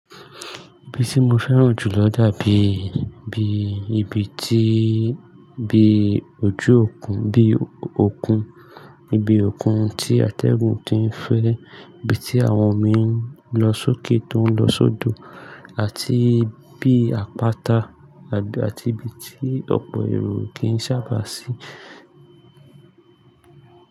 Ibi tí mo fẹ́ràn jù lọ dàbí bí ibi tí, bí ojú òkun, bí òkun, ibi òkun tí atẹ́gùn ti ń fẹ́, ibi tí àwọn mi ń lọ sókè tó ń lọ sódò àti bií àpáta abi àti ibi tí ọ̀pọ̀ èrò kìí sábà sí.